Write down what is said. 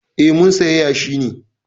Eh, mun saya yashi ne.